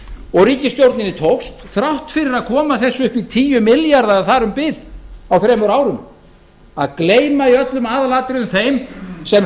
og ríkisstjórninni tókst þrátt fyrir að koma þessu upp í tíu milljarða eða þar um bil á þremur árum að gleyma í öllum aðalatriðum þeim sem